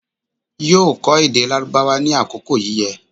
yóò kọ́ èdè Lárúbáwá ní àkókò yíyẹ